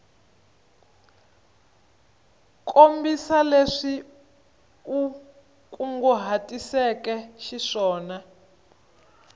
kombisa leswi u kunguhatiseke xiswona